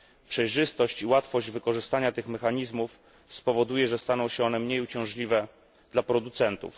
Przejrzystość i łatwość wykorzystania tych mechanizmów spowoduje, że staną się one mniej uciążliwe dla producentów.